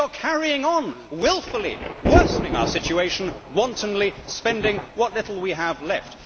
It is that you are carrying on wilfully, worsening our situation, wantonly spending what little we have left.